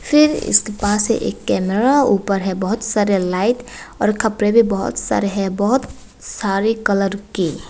फिर इसके पास एक कैमरा ऊपर है बहोत सारे लाइट और कपड़े भी बहुत सारे है बहोत सारे कलर के।